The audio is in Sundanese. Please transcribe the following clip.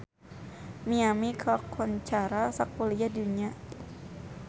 Miami kakoncara sakuliah dunya